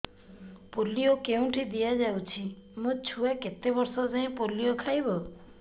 polio କେଉଁଠି ଦିଆଯାଉଛି ମୋ ଛୁଆ କେତେ ବର୍ଷ ଯାଏଁ ପୋଲିଓ ଖାଇବ